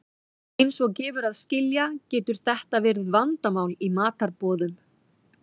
Eins og gefur að skilja getur þetta verið vandamál í matarboðum.